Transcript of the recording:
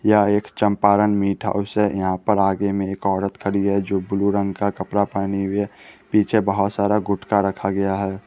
यह एक Champaran meat house है यहां पर आगे में एक औरत खड़ी है जो ब्लू रंग का कपड़ा पहनी हुई है पीछे बहोत सारा गुटका रखा गया है।